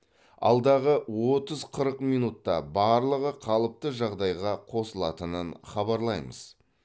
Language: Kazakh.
алдағы отыз қырық минутта барлығы қалыпты жағдайға қосылатынын хабарлаймыз